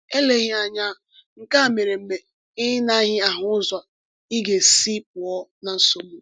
Eleghị anya, nke a mere mgbe ị naghị ahụ ụzọ ị ga-esi pụọ na nsogbu.